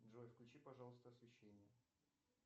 джой включи пожалуйста освещение